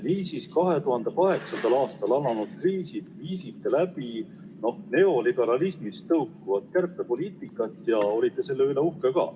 Niisiis, 2008. aastal alanud kriisis viisite läbi neoliberalismist tõukuvat kärpepoliitikat ja olite selle üle uhked.